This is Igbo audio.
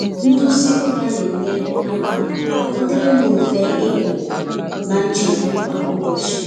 Nduzi ụra na-enye aka ka ọdịrị m mfe ịpụ na nchegbu kwa ụbọchị.